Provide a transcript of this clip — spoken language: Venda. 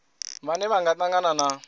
vhane vha nga tangana na